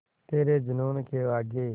तेरे जूनून के आगे